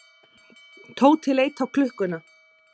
Tóti leit á klukkuna.